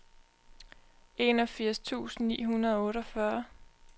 enogfirs tusind ni hundrede og otteogfyrre